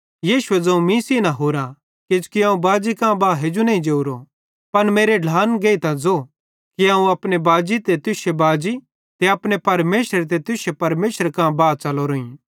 यीशुए ज़ोवं मीं सेइं न हुरा किजोकि अवं बाजी कां बाह हेजू नईं जोरो पन मेरे ढ्लान गेइतां ज़ो कि अवं अपने बाजी ते तुश्शे बाजी ते अपने परमेशर ते तुश्शे परमेशरे कां बा च़लोरोईं